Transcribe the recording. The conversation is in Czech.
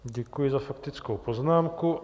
Děkuji za faktickou poznámku.